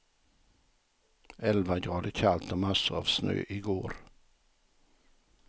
Elva grader kallt och massor av snö igår.